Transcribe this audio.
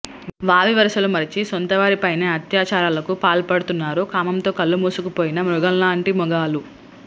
వావివరుసలు మరచి సొంత వారిపైనే అత్యాచారాలకు పాల్పడుతున్నారు కామంతో కళ్లు మూసుకుపోయిన మృగాల్లాంటి మగాళ్లు